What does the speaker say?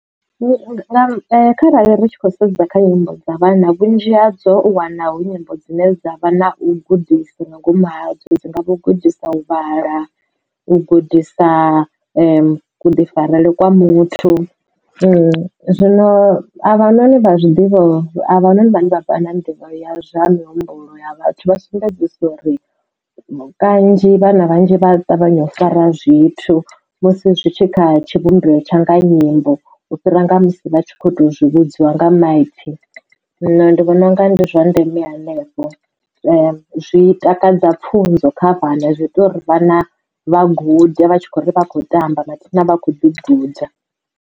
Kharali ri tshi khou sedza kha nyimbo dza vhana vhunzhi ha dzo u wana hu nyimbo dzine dza vha na u gudisa nga ngomu ha dzo. Hu ngavha u gudisa u vhala, u gudisa kufarelwe kwa muthu. zwino a vha noni vha zwiḓivha noni vhane vha vha na nḓivho ya zwa mihumbulo ya vhathu vha sumbedzisa uri kanzhi vhana vhanzhi vha ṱavhanya u fara zwithu musi zwi tshi kha tshivhumbeo tsha nga nyimbo u fhira nga musi vha tshi kho to zwi vhudziwa nga maipfhi zwino ndi vhona unga ndi zwa ndeme hanefho zwi takadza pfhunzo kha vhana zwi ita uri vhana vha gude vha tshi khou ri vha khou tamba mathina vha kho ḓi guda.